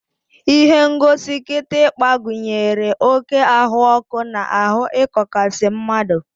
Ihengosi kịtịkpa gụnyere oké ahụọkụ na ahụ ịkọkasi mmadụ.